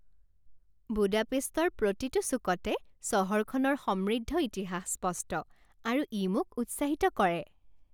বুদাপেষ্টৰ প্ৰতিটো চুকতে চহৰখনৰ সমৃদ্ধ ইতিহাস স্পষ্ট, আৰু ই মোক উৎসাহিত কৰে।